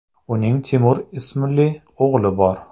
Uning Timur ismli o‘g‘li bor.